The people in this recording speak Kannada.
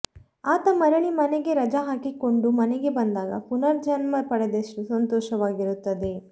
ಆತ ಮರಳಿ ಮನೆಗೆ ರಜಾ ಹಾಕಿಕೊಂಡು ಮನೆಗೆ ಬಂದಾಗ ಪುನರ್ ಜನ್ಮ ಪಡೆದಷ್ಟು ಸಂತೋಷವಾಗಿರುತ್ತದೆ